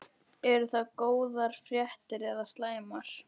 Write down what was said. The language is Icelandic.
Eru það góðar fréttir eða slæmar?